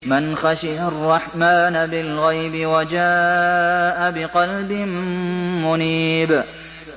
مَّنْ خَشِيَ الرَّحْمَٰنَ بِالْغَيْبِ وَجَاءَ بِقَلْبٍ مُّنِيبٍ